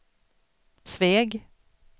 Sveg